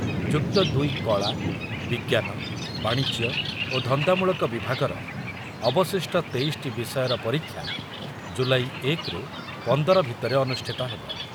ଯୁକ୍ତ ଦୁଇ କଳା, ବିଜ୍ଞାନ, ବାଣିଜ୍ୟ ଓ ଧନ୍ଦାମୂଳକ ବିଭାଗର ଅବଶିଷ୍ଟ ତେଇଶଟି ବିଷୟର ପରୀକ୍ଷା ଜୁଲାଇ ଏକ ରୁ ପନ୍ଦର ଭିତରେ ଅନୁଷ୍ଠିତ ହେବ।